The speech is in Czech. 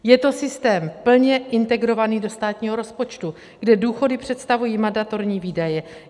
Je to systém plně integrovaný do státního rozpočtu, kde důchody představují mandatorní výdaje.